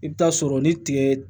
I bɛ taa sɔrɔ ni tiga